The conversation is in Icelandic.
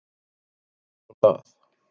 Þá mundi hún það.